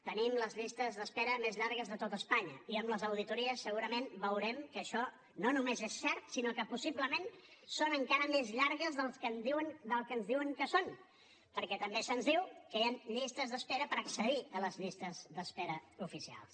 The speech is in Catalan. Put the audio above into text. tenim les llistes d’espera més llargues de tot espanya i amb les auditories segurament veurem que això no només és cert sinó que possiblement són encara més llargues del que ens diuen que són perquè també se’ns diu que hi han llistes d’espera per accedir a les llistes d’espera oficials